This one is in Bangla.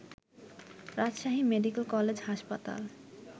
রাজশাহী মেডিকেল কলেজ হাসপাতাল